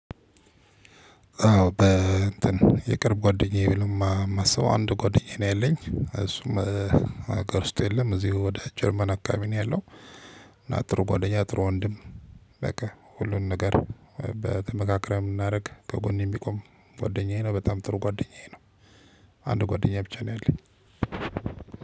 አዎ በ እንትን የቅርብ ጓደኛዬ ነው የማስበው አንድ ጓደኛዬ ነው ያለኝ እሱም ሀገር ውስጥ የለም እዚሁ ወደ ጀርመን አከባቢ ነው ያለው። እና ጥሩ ጓደኛ ጥሩ ወንድም። በቃ ሁሉን ነገር ተመካክረን የምናደርግ ከጎኔ የሚቆም ጓደኛዬ ነው በጣም ጥሩ ጓደኛዬ። አንድ ጓደኛ ብቻ ነው ያለኝ።